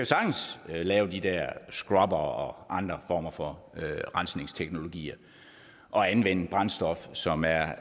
sagtens lave de der scrubbere og andre former for rensningsteknologier og anvende brændstof som er